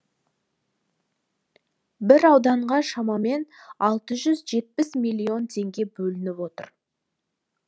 бір ауданға шамамен алты жүз жетпіс миллион теңге бөлініп отыр